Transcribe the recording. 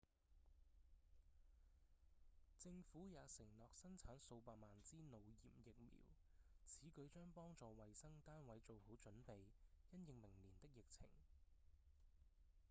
政府也承諾生產數百萬支腦炎疫苗此舉將幫助衛生單位做好準備因應明年的疫情